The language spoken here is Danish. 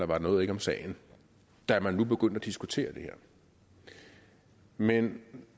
var noget om sagen da man nu begyndte at diskutere det her men